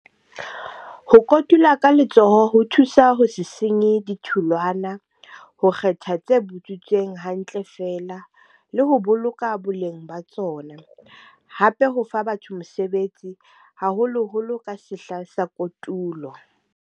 Ho kotula ka letsoho ho thusa ho se senye ditholwana, ho kgetha tse butswitseng hantle fela, le ho boloka boleng ba tsona. Hape ho fa batho mosebetsi haholoholo ka sehla sa kotulo.